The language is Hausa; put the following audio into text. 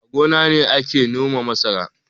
A gona ne ake noma masara